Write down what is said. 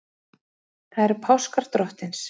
Það eru páskar Drottins.